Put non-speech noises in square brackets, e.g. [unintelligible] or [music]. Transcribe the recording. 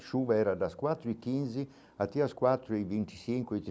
A chuva era das quatro e quinze, até as quatro e vinte e cinco e. [unintelligible]